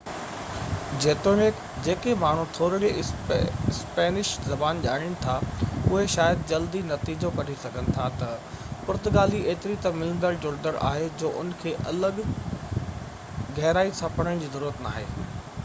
جيتوڻيڪ جيڪي ماڻهو ٿورڙي اسپينش زبان ڄاڻين ٿا اهي شايد جلدي نتيجو ڪڍي سگهن ٿا ته پرتگالي ايتري ته ملندڙ جهلندڙ آهي جو اِن کي الڳ گهرائي سان پڙهڻ جي ضرورت ناهي